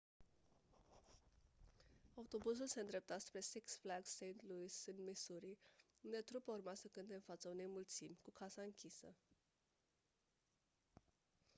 autobuzul se îndrepta spre six flags st louis în missouri unde trupa urma să cânte în fața unei mulțimi cu casa închisă